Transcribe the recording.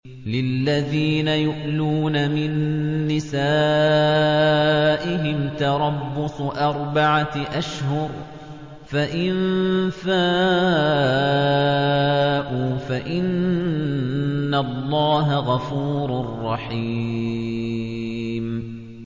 لِّلَّذِينَ يُؤْلُونَ مِن نِّسَائِهِمْ تَرَبُّصُ أَرْبَعَةِ أَشْهُرٍ ۖ فَإِن فَاءُوا فَإِنَّ اللَّهَ غَفُورٌ رَّحِيمٌ